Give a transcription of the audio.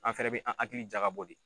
An fɛnɛ bɛ an hakili jagabɔ de.